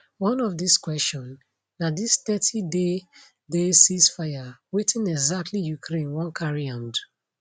one of dis question na dis thirty day day ceasefire wetin exactly ukraine wan carry am do